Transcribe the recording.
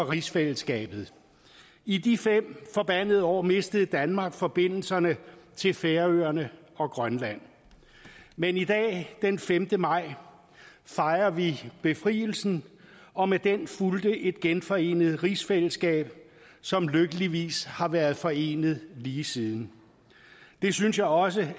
rigsfællesskabet i de fem forbandede år mistede danmark forbindelsen til færøerne og grønland men i dag den femte maj fejrer vi befrielsen og med den fulgte et genforenet rigsfællesskab som lykkeligvis har været forenet lige siden det synes jeg også